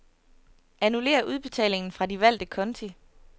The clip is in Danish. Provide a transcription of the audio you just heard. Annullér udbetalingen fra de valgte konti.